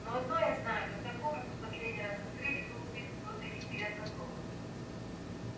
но одно я знаю когда комнату в последний раз открыли был убит кто-то из грязнокровок